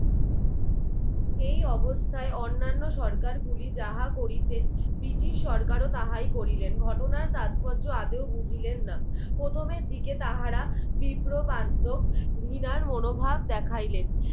এই অবস্থায় অন্নান্য সরকার গুলি যাহা করিতে ব্রিটিশ সরকারও তাহাই করিলেন ঘটনার তাৎপর্য আদেও বুঝালেন না প্রথমের দিকে তাহারা বিপ্রমাধক ঘৃণার মনোভাব দেখাইলেন